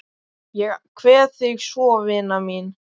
Ég kveð þig svo vina mín.